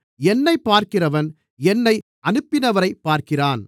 என்னைப் பார்க்கிறவன் என்னை அனுப்பினவரைப் பார்க்கிறான்